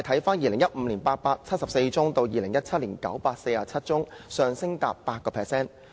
由2015年的874宗增至2017年的947宗，上升逾 8%。